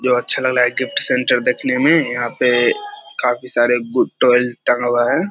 जो अच्छा लग रहा है गिफ्ट सेन्टर देखने में यहाँ पे काफी सारे गु टोएल टंगा हुआ है।